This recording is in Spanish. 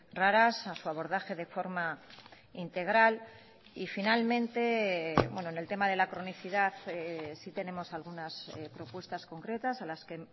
raras a su abordaje de forma integral y finalmente en el tema de la cronicidad sí tenemos algunas propuestas concretas a las que